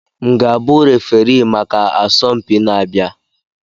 M ga-abụ referii maka asọmpi na-abịa?